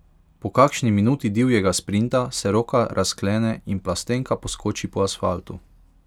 Po kakšni minuti divjega sprinta se roka razklene in plastenka poskoči po asfaltu.